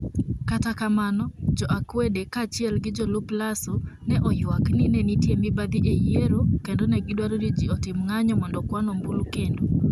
Kata kamano, jo akwede kaachiel gi jolup Lasso, ne oywak ni ne nitie mibadhi e yiero, kendo ne gidwaro ni ji otim ng'anyo mondo okwan ombulu kendo.